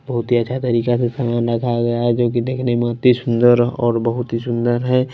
बहुत ही अच्छा तरीका से सामान रखा गया है जो कि देखने में अति सुंदर और बहुत ही सुंदर है।